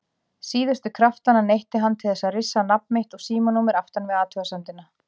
Síðustu kraftanna neytti hann til þess að rissa nafn mitt og símanúmer aftan við athugasemdina.